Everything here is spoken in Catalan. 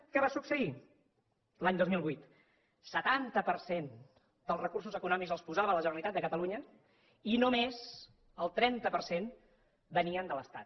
què va succeir l’any dos mil vuit el setanta per cent dels recursos econòmics els posava la generalitat de catalunya i només el trenta per cent venien de l’estat